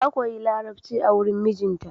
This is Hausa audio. Ta koyi Larabci a wurin mijinta.